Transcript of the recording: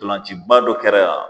Dɔlanciba dɔ kɛra yan.